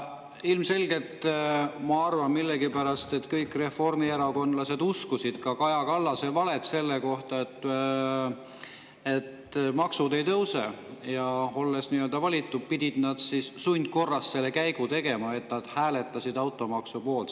Ilmselgelt, ma arvan millegipärast, kõik reformierakondlased uskusid ka Kaja Kallase valet selle kohta, et maksud ei tõuse, aga olles valitud, pidid nad sundkorras selle käigu tegema, et nad hääletasid automaksu poolt.